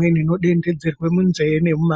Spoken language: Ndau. mitombo inodonhedzerwe munzee nemumadziso.